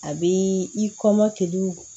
A bɛ i kɔmɔkili